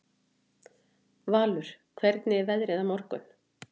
Valur, hvernig er veðrið á morgun?